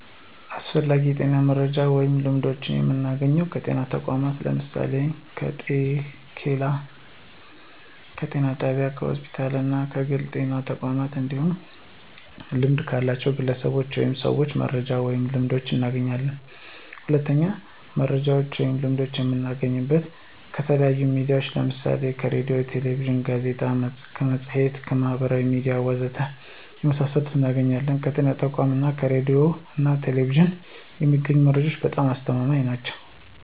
አስፈላጊ የጤና መረጃዎችን ወይም ልምዶችን የምናገኘው ከጤና ተቋማት ለምሳሌ፦ ከጤኬላ፣ ከጤና ጣቢያ፣ ከሆስፒታል እና ከግል የጤና ተቋማት እንዲሁም ልምድ ካላቸው ግለሰቦች ወይም ሰዎች መረጃዎችን ወይንም ልምዶችን እናገኛለን። ሁለተኛው መረጃዎችን ወይም ልምዶችን የምናገኘው ከተለያዩ ሚዲያዎች ለምሳሌ ከሬዲዮ፣ ከቴሌቪዥን፣ ከጋዜጣ፣ ከመፅሔት፣ ከማህበራዊ ሚዲያ ወዘተ ከመሳሰሉት እናገኛለን። ከጤና ተቋማት እና ከሬዲዮ ና ቴሌቪዥን የሚገኙ መረጃዎች በጣም አስተማማኝ ናቸው።